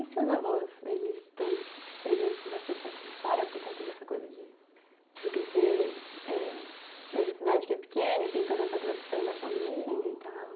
E seus avós, eles estão presentes bastante na tua história por conta dessa coisa de você crescer, é, nessa cidade que é pequena e tem toda essa tradição da família e tal?